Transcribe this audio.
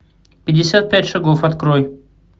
пятьдесят пять шагов открой